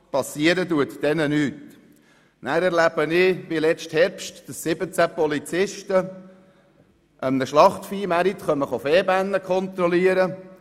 Dann erlebe ich, wie 17 Polizisten im letzten Herbst an einem Schlachtviehmarkt «Vehbänne» kontrollieren.